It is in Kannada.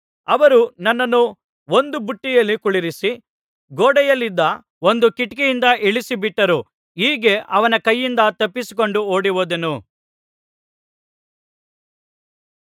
ಅವರು ನನ್ನನ್ನು ಒಂದು ಬುಟ್ಟಿಯಲ್ಲಿ ಕುಳ್ಳಿರಿಸಿ ಗೋಡೆಯಲ್ಲಿದ್ದ ಒಂದು ಕಿಟಕಿಯಿಂದ ಇಳಿಸಿಬಿಟ್ಟರು ಹೀಗೆ ಅವನ ಕೈಯಿಂದ ತಪ್ಪಿಸಿಕೊಂಡು ಓಡಿಹೋದೆನು